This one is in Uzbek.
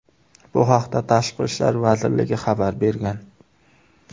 Bu haqda Tashqi ishlar vazirligi xabar bergan .